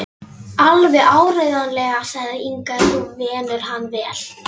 Alveg áreiðanlega, sagði Inga, ef þú venur hann vel.